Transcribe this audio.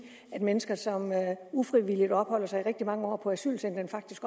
at mennesker som ufrivilligt opholder sig rigtig mange år på et asylcenter faktisk